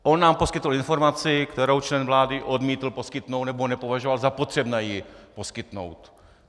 On nám poskytl informaci, kterou člen vlády odmítl poskytnout, nebo nepovažoval za potřebné ji poskytnout.